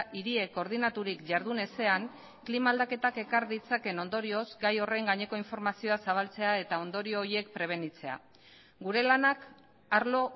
hiriek koordinaturik jardun ezean klima aldaketak ekar ditzakeen ondorioz gai horren gaineko informazioa zabaltzea eta ondorio horiek prebenitzea gure lanak arlo